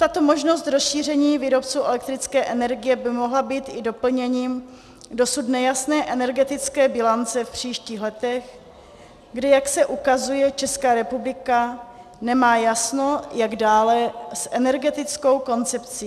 Tato možnost rozšíření výrobců elektrické energie by mohla být i doplněním dosud nejasné energetické bilance v příštích letech, kdy, jak se ukazuje, Česká republika nemá jasno, jak dále s energetickou koncepcí.